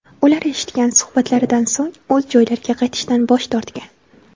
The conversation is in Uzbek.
Ular eshitgan suhbatlaridan so‘ng o‘z joylariga qaytishdan bosh tortgan.